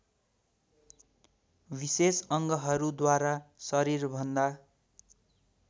विशेष अङ्गहरूद्वारा शरीरभन्दा